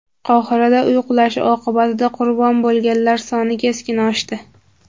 Qohirada uy qulashi oqibatida qurbon bo‘lganlar soni keskin oshdi.